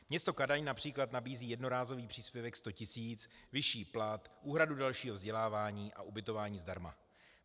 Město Kadaň například nabízí jednorázový příspěvek 100 tisíc, vyšší plat, úhradu dalšího vzdělávání a ubytování zdarma.